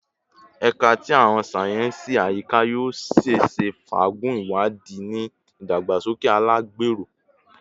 Ẹka ti Awọn sáyẹnsì Ayika yoo ṣeese faagun iwadii ni idagbasoke alagbero